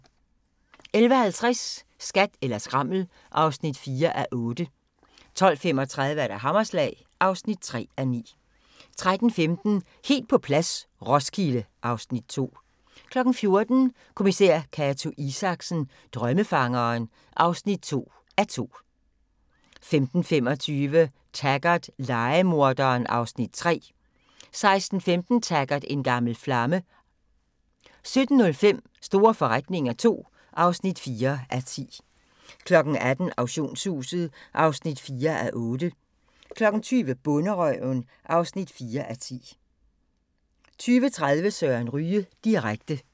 11:50: Skat eller skrammel (4:8) 12:35: Hammerslag (3:9) 13:15: Helt på plads - Roskilde (Afs. 2) 14:00: Kommissær Cato Isaksen: Drømmefangeren (2:2) 15:25: Taggart: Lejemorderen (Afs. 3) 16:15: Taggart: En gammel flamme 17:05: Store forretninger II (4:10) 18:00: Auktionshuset (4:8) 20:00: Bonderøven (4:10) 20:30: Søren Ryge direkte